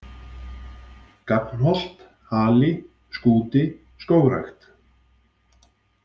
Gagnholt, Hali, Skúti, Skógrækt